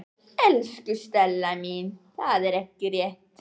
Elsku Stella mín, það er ekki rétt.